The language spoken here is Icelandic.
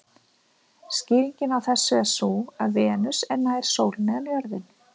Skýringin á þessu er sú að Venus er nær sólinni en jörðin.